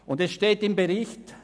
Weiter steht im Bericht: